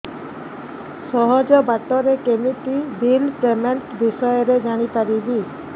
ସହଜ ବାଟ ରେ କେମିତି ବିଲ୍ ପେମେଣ୍ଟ ବିଷୟ ରେ ଜାଣି ପାରିବି